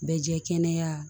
Bɛ jɛ kɛnɛya